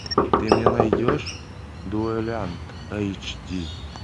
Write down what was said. ты мне найдешь дуэлянт эйч ди